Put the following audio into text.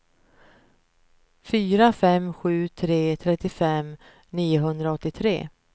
fyra fem sju tre trettiofem niohundraåttiotre